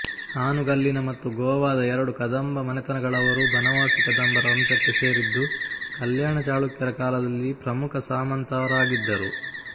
ಹಾನುಗಲ್ಲಿನ ಮತ್ತು ಗೋವಾದ ಎರಡು ಕದಂಬ ಮನೆತನಗಳವರೂ ಬನವಾಸಿ ಕದಂಬರ ವಂಶಕ್ಕೆ ಸೇರಿದ್ದು ಕಲ್ಯಾಣ ಚಾಳುಕ್ಯರ ಕಾಲದಲ್ಲಿ ಪ್ರಮುಖ ಸಾಮಂತರಾಗಿದ್ದರು